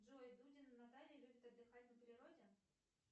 джой дудина наталья любит отдыхать на природе